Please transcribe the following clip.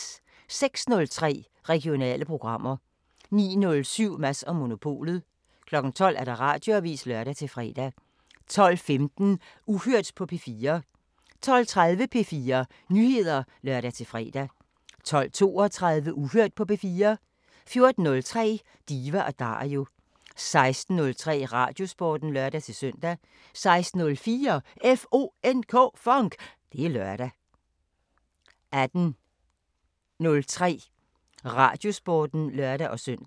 06:03: Regionale programmer 09:07: Mads & Monopolet 12:00: Radioavisen (lør-fre) 12:15: Uhørt på P4 12:30: P4 Nyheder (lør-fre) 12:32: Uhørt på P4 14:03: Diva & Dario 16:03: Radiosporten (lør-søn) 16:04: FONK! Det er lørdag 18:03: Radiosporten (lør-søn)